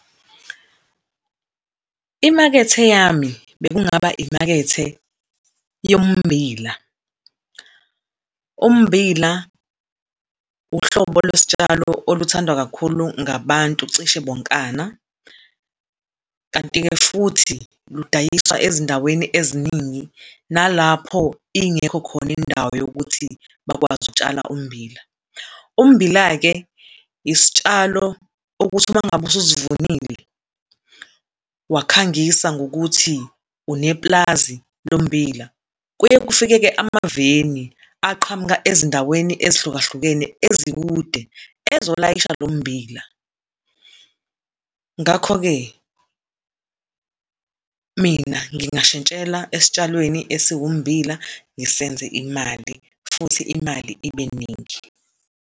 Imakethe yami bekungaba imakethe yombili. Ummbila uhlobo lwesitshalo oluthandwa kakhulu ngabantu, cishe bokana, kanti-ke futhi ludayiswa ezindaweni eziningi nalapho ingekho khona indawo yokuthi bakwazi ukutshala ummbila. Ummbila-ke, isitshalo okuthi uma ngabe ususivunile, wakhangisa ngokuthi unepulazi lommbila, kuye kufike-ke amaveni, aqhamuka ezindaweni ezihlukahlukene ezikude, ezolayisha lo mmbila. Ngakho-ke, mina ngingashintshela esitshalweni esiwummbila, ngisenze imali, futhi imali ibe ningi.